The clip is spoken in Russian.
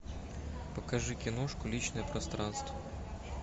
покажи киношку личное пространство